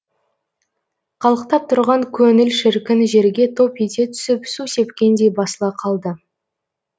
қалықтап тұрған көңіл шіркін жерге топ ете түсіп су сепкендей басыла қалды